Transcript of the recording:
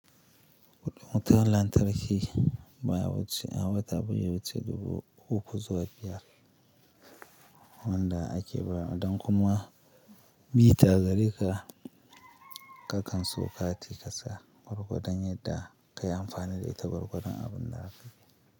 Wutar lantarki baya wuce a wata bazai wuce dubu uku zuwa biyar, wanda ake bayar wa idan kuma meter gareka kakan siyo kati ka sa gwargwadon yadda ka yi amfani da ita gwargwadon abun da aka yi.